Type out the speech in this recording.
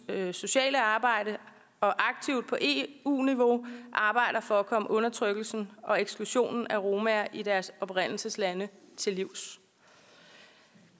sociale arbejde og aktivt på eu niveau arbejder for at komme undertrykkelsen og eksklusionen af romaer i deres oprindelseslande til livs